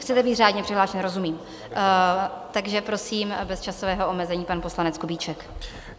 Chcete být řádně přihlášen, rozumím, takže prosím, bez časového omezení pan poslanec Kubíček.